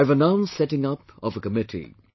I have announced setting up of a committee